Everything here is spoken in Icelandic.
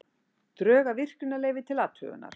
Drög að virkjunarleyfi til athugunar